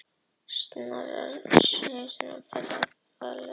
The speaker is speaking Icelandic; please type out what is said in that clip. Snorra Sigfússyni á Flateyri.